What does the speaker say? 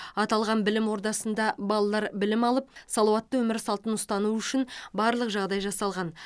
аталған білім ордасында балалар білім алып салауатты өмір салтын ұстану үшін барлық жағдай жасалған